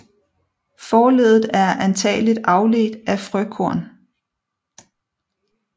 Forleddet er antagelig afledt af frøkorn